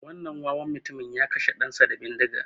Wannan wawan mutumin ya kashe ɗan sa da bindiga